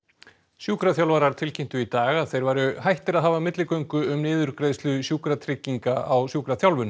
sjúkraþjálfarar tilkynntu í dag að þeir væru hættir að hafa milligöngu um niðurgreiðslu Sjúkratrygginga á sjúkraþjálfun